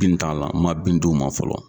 Bin t'a la, ma bin' ma fɔlɔ.